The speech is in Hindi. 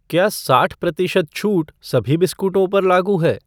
क्या साठ प्रतिशत छूट सभी बिस्कुटों पर लागू है?